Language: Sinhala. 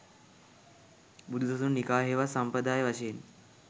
බුදුසසුන නිකාය හෙවත් සම්ප්‍රදාය වශයෙන්